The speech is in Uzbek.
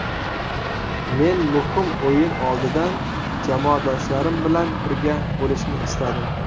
Men muhim o‘yin oldidan jamoadoshlarim bilan birga bo‘lishni istadim.